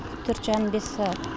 төрт жарым бес сағат